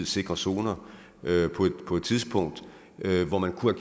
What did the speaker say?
sikre zoner på et tidspunkt hvor man kunne